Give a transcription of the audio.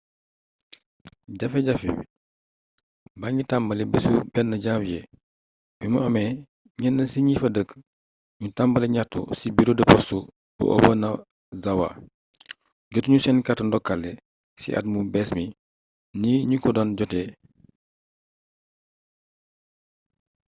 jafe-jafe baa ngi tàmbali bisu 1 janvier bi mu amee ñenn ci ñi fa dëkk ñu tàmbali ñaxtu ci bureau de poste bu obanazawa jotu ñu seen carte ndokkale ci at mu bees mi ni ñu ko daan jotee